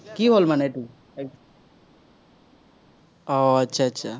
আহ